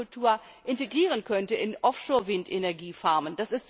Aquakultur integrieren könnte in Offshore Windenergiefarmen.